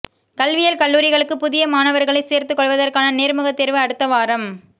கல்வியியல் கல்லூரிகளுக்கு புதிய மாணவர்களை சேர்த்துக்கொள்வதற்கான நேர்முகத் தேர்வு அடுத்த வாரம்